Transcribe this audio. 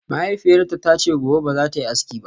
Mahaifiyarta ta ce gobe ba za ta yi aski ba